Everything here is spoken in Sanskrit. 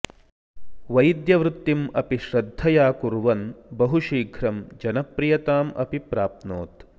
वैद्यवृत्तिम् अपि श्रद्धया कुर्वन् बहुशीघ्रं जनप्रियताम् अपि प्राप्नोत्